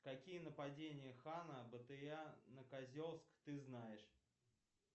какие нападения хана батыя на козельск ты знаешь